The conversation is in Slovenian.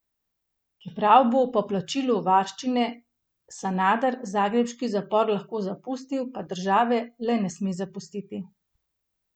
Čeprav bo po plačilu varščine Sanader zagrebški zapor lahko zapustil, pa države le ne sme zapustiti.